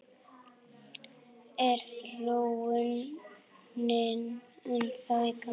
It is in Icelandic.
Er þróunin ennþá í gangi?